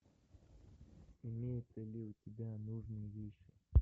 имеется ли у тебя нужные вещи